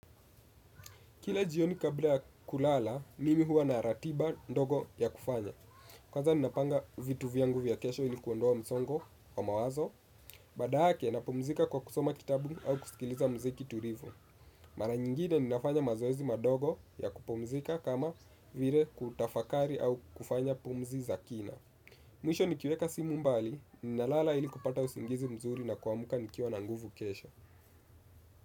Kila jioni kabla ya kulala, mimi huwa na ratiba ndogo ya kufanya. Kwanza ninapanga vitu vyangu vya kesho ili kuondoa msongo wa mawazo. Baada yake, napumzika kwa kusoma kitabu au kusikiliza muziki tulivu. Mara nyingine, ninafanya mazoezi madogo ya kupumzika kama vile kutafakari au kufanya pumzi za kina. Mwisho nikiweka simu mbali, ninalala ili kupata usingizi mzuri na kuamka nikiwa na nguvu kesho.